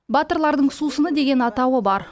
батырлардың сусыны деген атауы бар